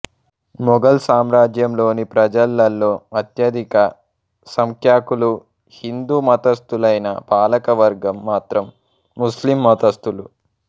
మొఘల్ సామ్రాజ్యంలోని ప్రజలలో అత్యధిక సంఖ్యాకులు హిందూ మతస్థులైనా పాలకవర్గం మాత్రం ముస్లిం మతస్థులు